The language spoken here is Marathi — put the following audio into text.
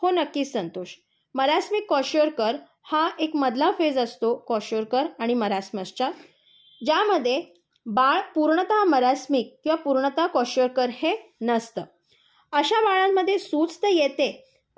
हो नक्कीच संतोष. मरसमिक क्कोशरकर हा एक मधला फेज असतो क्वोशारकर आणि मरासमसच्या ज्यामध्ये बाळ पूर्णतः मरसमिक किंवा पूर्णतः क्वोशरकर हे नसते. अशा बाळांमध्ये सूज तर येते,